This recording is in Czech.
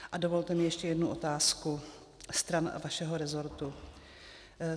A dovolte mi ještě jednu otázku stran vašeho rezortu.